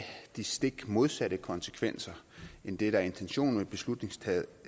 de stik modsatte konsekvenser end det der er intentionen med beslutningsforslaget